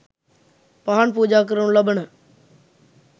පහන් පූජා කරනු ලබන